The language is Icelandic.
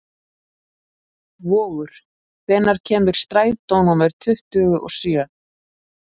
Vogur, hvenær kemur strætó númer tuttugu og sjö?